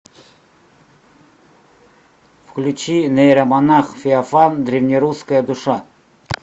включи нейромонах феофан древнерусская душа